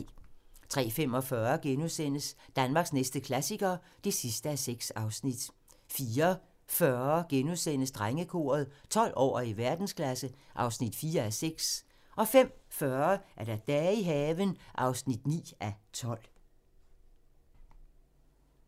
03:45: Danmarks næste klassiker (6:6)* 04:40: Drengekoret - 12 år og i verdensklasse (4:6)* 05:40: Dage i haven (9:12)